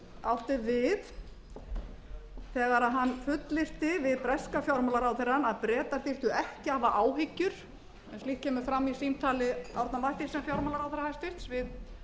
átti við þegar hann fullyrti við breska fjármálaráðherrann að bretar þyrftu ekki að hafa áhyggjur en slíkt kemur fram í símtali árna mathiesen fjármálaráðherra hæstvirtur við